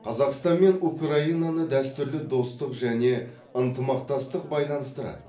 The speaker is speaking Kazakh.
қазақстан мен украинаны дәстүрлі достық және ынтымақтастық байланыстырады